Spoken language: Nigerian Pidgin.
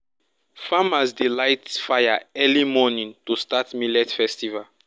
farmers dey light fire early morning to start millet festival.